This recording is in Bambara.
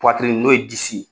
n'o ye disi ye.